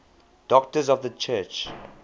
doctors of the church